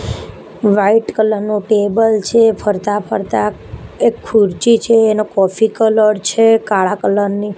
white colour નુ table છે ફરતા-ફરતા એક ખુરચી છે એનો કોફી કલર છે કાળા કલર ની --